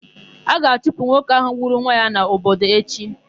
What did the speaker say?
A ga-achụpụ nwoke ahụ gburu nwa ya n'obodo echi.